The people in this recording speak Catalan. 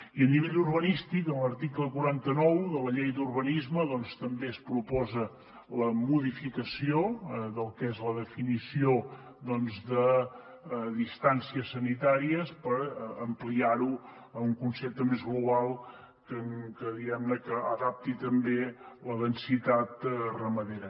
i a nivell urbanístic en l’article quaranta nou de la llei d’urbanisme doncs també es proposa la modificació del que és la definició de distàncies sanitàries per ampliarho a un concepte més global que diguemne adapti també la densitat ramadera